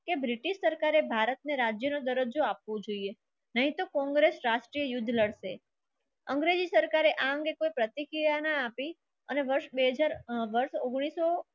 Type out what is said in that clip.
કે બ્રિટિશ સરકારે ભારતને રાજ્યનો દરજ્જો આપવો જોઈએ. નહીં તો કોંગ્રેસ રાષ્ટ્રીય યુદ્ધ લડશે. અંગ્રેજી સરકારે આ અંગે કોઈ પ્રતિકીયાના આપી અને વર્ષ ઉંગ્નીસ સો